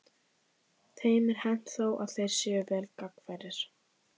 Þeim er hent þó að þeir séu vel gangfærir.